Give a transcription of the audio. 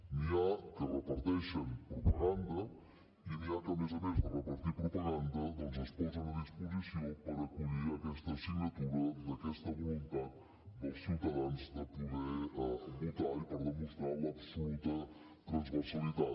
n’hi ha que reparteixen propaganda i n’hi ha que a més a més de repartir propaganda doncs es posen a disposició per acollir aquesta signatura d’aquesta voluntat dels ciutadans de poder votar i per demostrar l’absoluta transversalitat